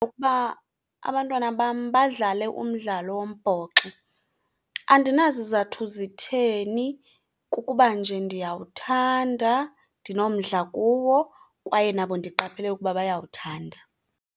Ukuba abantwana bam badlale umdlalo wombhoxo. Andinazizathu zitheni kukuba nje ndiyawuthanda, ndinomdla kuwo, kwaye nabo ndiqaphele ukuba bayawuthanda.